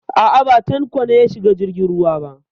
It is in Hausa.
A'a, ba Tanko ne ya shiga jirgin ruwa ba.